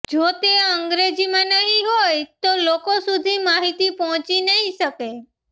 જો તે અંગ્રેજીમાં નહીં હોય તો લોકો સુધી માહિતી પહોંચી નહીં શકે